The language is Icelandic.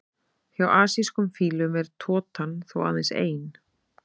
Hjá asískum fílum er totan þó aðeins ein.